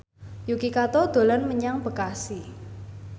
Yuki Kato dolan menyang Bekasi